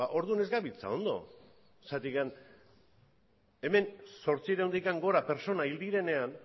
orduan ez gabiltza ondo zergatik hemen zortziehuntik gora pertsona hil direnean